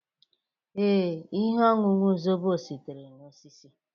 Ee, ihe ọṅụṅụ zobo sitere na osisi